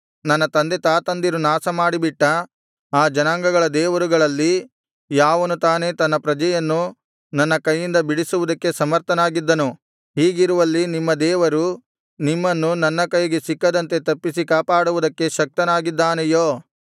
ನನ್ನ ತಂದೆತಾತಂದಿರು ನಾಶಮಾಡಿಬಿಟ್ಟ ಆ ಜನಾಂಗಗಳ ದೇವರುಗಳಲ್ಲಿ ಯಾವನು ತಾನೆ ತನ್ನ ಪ್ರಜೆಯನ್ನು ನನ್ನ ಕೈಯಿಂದ ಬಿಡಿಸುವುದಕ್ಕೆ ಸಮರ್ಥನಾಗಿದ್ದನು ಹೀಗಿರುವಲ್ಲಿ ನಿಮ್ಮ ದೇವರು ನಿಮ್ಮನ್ನು ನನ್ನ ಕೈಗೆ ಸಿಕ್ಕದಂತೆ ತಪ್ಪಿಸಿ ಕಾಪಾಡುವುದಕ್ಕೆ ಶಕ್ತನಾಗಿದ್ದಾನೆಯೋ